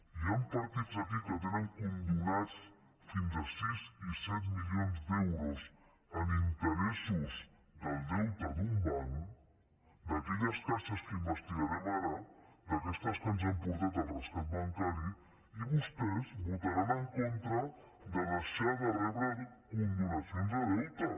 hi han partits aquí que tenen condonats fins a sis i set milions d’euros en interessos del deute d’un banc d’aquelles caixes que investigarem ara d’aquestes que ens han portat al rescat bancari i vostès votaran en contra de deixar de rebre condonacions de deute